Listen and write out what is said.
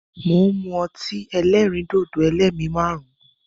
Mo ń mú ọtí ẹlẹ́rìndòdò "ẹlẹ́mi márùn-ún ".